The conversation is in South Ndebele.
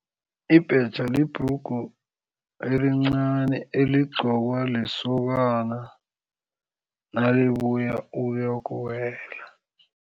Ibhetjha libhrugu elincani eligqokwa lisokana nalibuya ukuyokuwela.